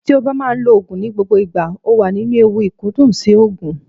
Tí o bá máa ń lo Ògùn ní gbogbo ìgbà, o wà nínú ewu ìkúndùn sí Ògùn.